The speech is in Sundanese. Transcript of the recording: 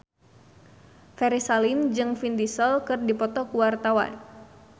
Ferry Salim jeung Vin Diesel keur dipoto ku wartawan